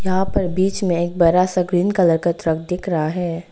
यहां पर बीच में एक बड़ा सा ग्रीन कलर का ट्रक दिख रहा है।